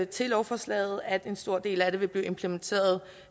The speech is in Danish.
til lovforslaget at en stor del af det vil blive implementeret